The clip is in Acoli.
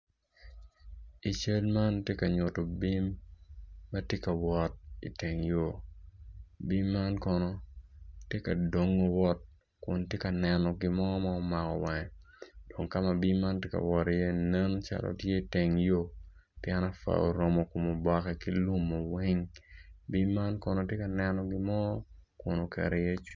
Cal man tye ka nyuto bim ma tye ka wot i teng yo, bim man kono tye ka dongo wot kun tye ka neno gin mo ma ogamo wange dong ka ma bim man tye ka wot tye calo teng yo pien apwa oromo kom oboke weng bim man kono tye ka neno gin mo kun oketo iye cwinye.